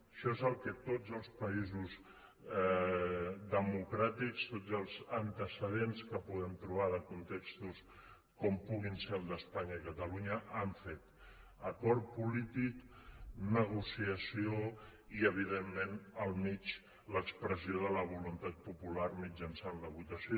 això és el que tots els països democràtics tots els antecedents que podem trobar de contextos com puguin ser el d’espanya i catalunya han fet acord polític negociació i evidentment al mig l’expressió de la voluntat popular mitjançant la votació